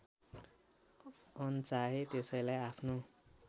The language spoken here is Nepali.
अनचाहे त्यसैलाई आफ्नो